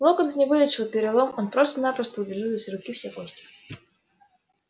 локонс не вылечил перелом он просто-напросто удалил из руки все кости